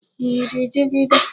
Ị yiri jigida?